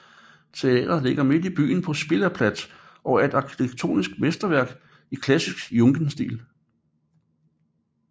Teatret ligger midt i byen på Schillerplads og er et arkitektonisk mesterværk i klassisk Jugendstil